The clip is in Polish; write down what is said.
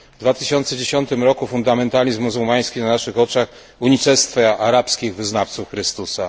W 2010 roku fundamentalizm muzułmański na naszych oczach unicestwia arabskich wyznawców Chrystusa.